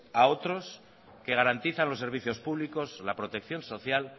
a otros que garantizan los servicios públicos la protección social